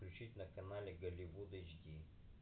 включить на канале голливуд ашди